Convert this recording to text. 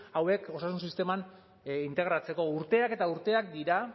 hauek osasun sisteman integratzeko urteak eta urteak dira